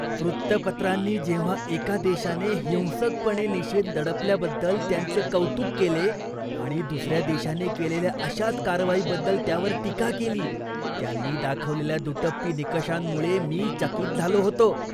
वृत्तपत्रांनी जेव्हा एका देशाने हिंसकपणे निषेध दडपल्याबद्दल त्यांचे कौतुक केले आणि दुसऱ्या देशाने केलेल्या अशाच कारवाईबद्दल त्यावर टीका केली, त्यांनी दाखवलेल्या दुटप्पी निकषांमुळे मी चकित झालो होतो.